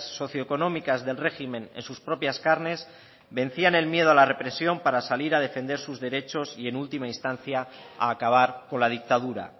socioeconómicas del régimen en sus propias carnes vencían el miedo a la represión para salir a defender sus derechos y en última instancia a acabar con la dictadura